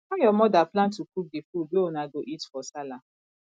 how your mother plan to cook di food wey una go eat for sallah